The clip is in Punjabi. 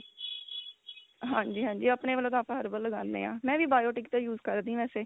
ਹਾਂਜੀ ਹਾਂਜੀ ਆਪਣੇ ਵੱਲੋਂ ਤਾਂ ਆਪਾਂ herbal ਲਗਾਂਦੇ ਆ ਮੈਂ ਵੀ biotique ਦਾ use ਕਰਦੀ ਆ ਵੈਸੇ